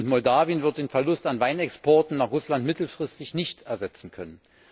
Moldawien wird den Verlust an Weinexporten nach Russland mittelfristig nicht ersetzen können.